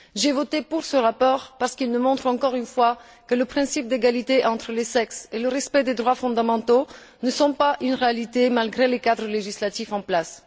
J'ai voté pour ce rapport parce qu'il nous montre, encore une fois, que le principe d'égalité entre les sexes et le respect des droits fondamentaux ne sont pas une réalité, malgré les cadres législatifs en place.